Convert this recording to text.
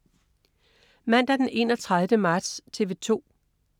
Mandag den 31. marts - TV 2: